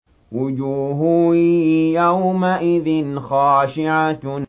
وُجُوهٌ يَوْمَئِذٍ خَاشِعَةٌ